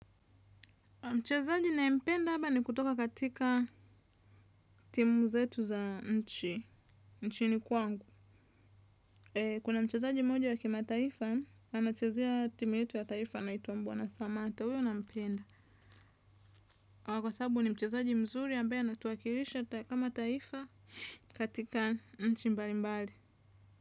Mchezaji ninaye mpenda haba ni kutoka katika timu zetu za nchi, nchini kwangu. Kuna mchezaji mmoja wa kimataifa, anachezea timu yetu ya taifa anaitwa Bwana samata, huyo nampenda. Kwasababu ni mchezaji mzuri ambaye anatuwakilisha kama taifa kwenye nchi mbali mbali.